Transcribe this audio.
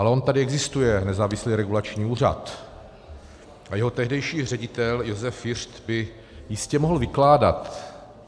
Ale on tady existuje nezávislý regulační úřad a jeho tehdejší ředitel Josef Fiřt by jistě mohl vykládat.